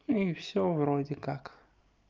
и всё вроде как